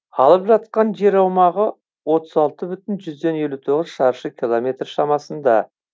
алып жатқан жер аумағы отыз алты бүтін жүзден елу тоғыз шаршы километр шамасында